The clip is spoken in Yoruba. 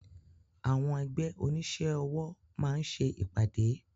Àwọn ẹgbẹ́ onísẹ́ ọwọ́ máá ń ṣe ìpàdé